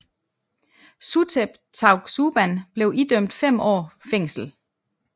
Suthep Thaugsuban blev idømt fem år fængsel